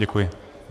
Děkuji.